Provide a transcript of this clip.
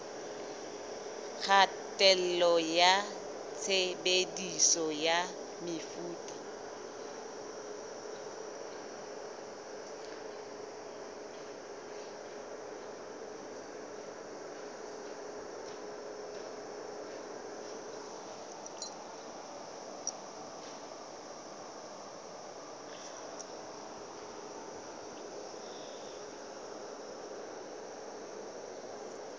kgatello ya tshebediso ya mefuta